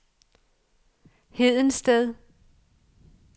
Hedensted